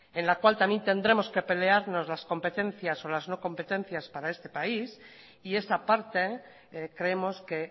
en la cual también tendremos que pelearnos las competencias o las no competencias para este país y esa parte creemos que